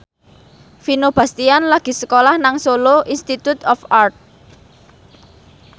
Vino Bastian lagi sekolah nang Solo Institute of Art